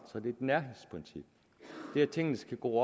er det et nærhedsprincip det at tingene skal gro